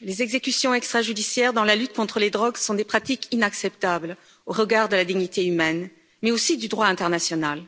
Les exécutions extrajudiciaires dans la lutte contre les drogues sont des pratiques inacceptables au regard de la dignité humaine, mais aussi du droit international.